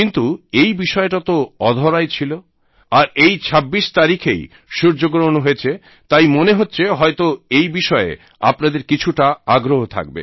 কিন্তু এই বিষয়টা তো অধরাই ছিল আর এই ছাব্বিশ তারিখেই সূর্যগ্রহণ হয়েছে তাই মনে হচ্ছে হয়ত এই বিষয়ে আপনাদের কিছুটা আগ্রহ থাকবে